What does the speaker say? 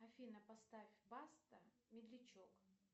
афина поставь баста медлячок